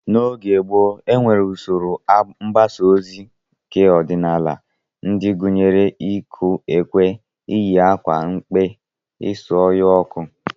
N'oge gboo, e nwere usoro mgbasa ozi keọdịnala ndị gụnyere iku ekwe, iyi akwa mkpe, isu ọhịa ọkụ